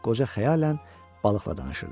qoca xəyalən balıqla danışırdı.